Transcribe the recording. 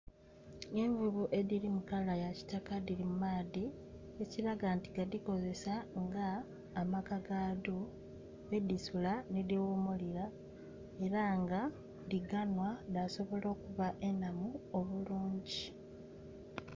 Envuvu edhiri mu kala ya kitaka dhiri mu maadhi ekiraga nti gadhikozesa nga amaka gaadho mwedhisula nhidhighumulira era nga dhiganhwa dha sobola okuba enhamu obulungi.